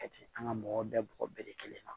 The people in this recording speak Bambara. Kɛti an ka mɔgɔ bɛɛ bɔgɔ bɛɛ kelen na